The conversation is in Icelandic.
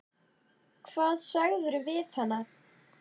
Hvað sagðirðu við hana?